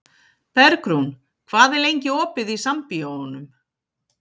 Bergrún, hvað er lengi opið í Sambíóunum?